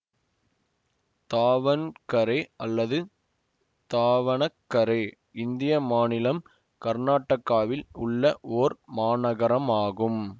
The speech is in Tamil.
தாவண்கரே அல்லது தாவணகரே இந்திய மாநிலம் கர்நாடகாவில் உள்ள ஓர் மாநகரமாகும்